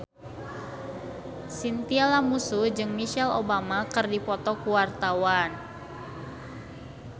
Chintya Lamusu jeung Michelle Obama keur dipoto ku wartawan